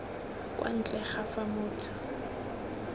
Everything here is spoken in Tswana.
kwa ntle ga fa motho